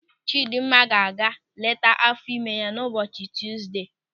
Chidimma ga-aga nleta áfọ̀ ime ya ụbọchị Tuzdee.